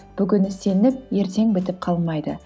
бүгін істелініп ертең бітіп қалмайды